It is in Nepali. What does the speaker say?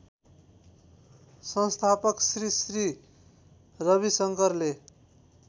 संस्थापक श्री श्री रविशंकरले